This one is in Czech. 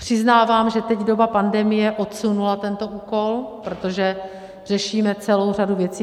Přiznávám, že teď doba pandemie odsunula tento úkol, protože řešíme celou řadu věcí.